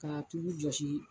Ka tulu jɔsi.